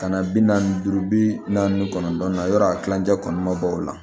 Ka na bi naani duuru bi naani kɔnɔntɔn na yɔrɔ a kilancɛ kɔni ma bɔ o la